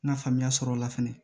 N ka faamuya sɔrɔ o la fɛnɛ